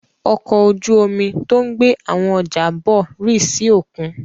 Ọkọ̀ ojú-omi tó ń gbé àwọn ọjà bọ̀ rì sí òkun.